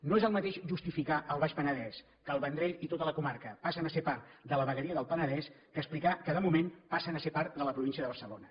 no és el mateix justificar al baix penedès que el vendrell i tota la comarca passen a ser part de la vegueria del penedès que explicar que de moment passen a ser part de la província de barcelona